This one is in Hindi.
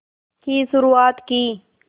की शुरुआत की